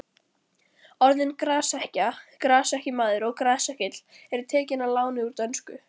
Orðin grasekkja, grasekkjumaður og grasekkill eru tekin að láni úr dönsku.